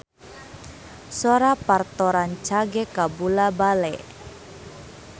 Sora Parto rancage kabula-bale